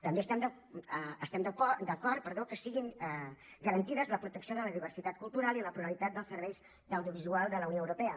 també estem d’acord que siguin garantides la protecció de la diversitat cultural i la pluralitat dels serveis d’audiovisual de la unió europea